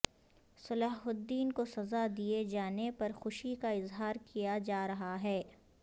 صلاح الدین کو سزا دیے جانے پر خوشی کا اظہار کیا جا رہا ہے